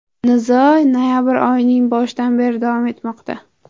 Nizo noyabr oyining boshidan beri davom etmoqda.